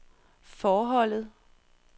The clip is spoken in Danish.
forholdet